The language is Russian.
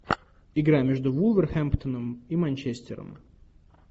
игра между вулверхэмптоном и манчестером